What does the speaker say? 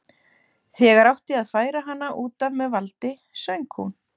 Þegar átti að færa hana út af með valdi söng hún